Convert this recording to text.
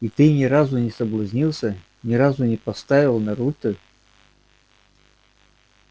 и ты не разу не соблазнился ни разу не поставил на руте